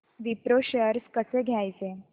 Wipro shares कसे घ्यायचे